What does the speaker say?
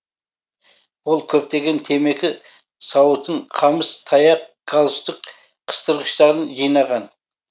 ол көптеген темекі сауытын қамыс таяқ галстук қыстырғыштарын жинаған